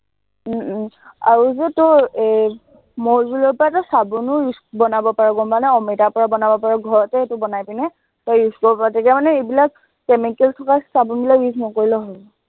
উম উম আৰু যে তোৰ এই মৌ জুলৰ পৰা তই চাবোনো use বনাব পাৰ, গম পাৱ নে, অমিতাৰ পৰা বনাব পাৰ, ঘৰতে সেইটো বনাই কিনে তই use কৰিব পাৰ, তেতিয়া মানে এইবিলাক chemical থকা চাবোনবিলাক use নকৰিলেও হয়।